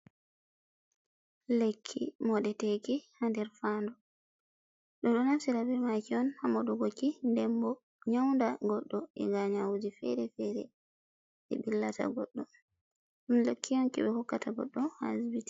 Lekki moɗoteki ha nɗer faaɗu. Beɗo naftira be maki ha modutuki. Be ɗo naftira be maki on ha moɗuki dem bo nyanda goɗɗo ega Nyajji fere-fere wi billata goddo.